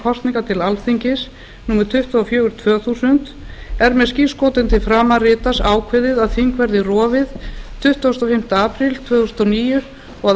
kosningar til alþingis númer tuttugu og fjögur tvö þúsund er með skírskotun til framanritaðs ákveðið að þing verði rofið tuttugasta og fimmta apríl tvö þúsund og níu og að